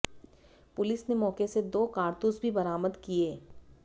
police ने मौके से दो कारतूस भी बरामद किए